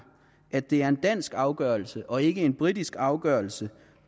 at det er en dansk afgørelse og ikke en britisk afgørelse